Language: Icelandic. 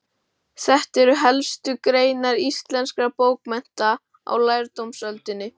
Þetta eru helstu greinar íslenskra bókmennta á lærdómsöldinni.